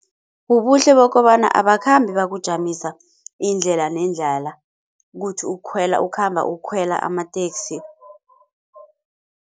Ubuhle bokobana abakhambi bakujamisa indlela nendlala kuthi ukhwela ukhamba ukhwela amateksi